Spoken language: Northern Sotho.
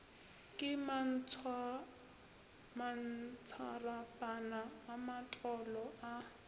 ke mantsatsarapana a matolo a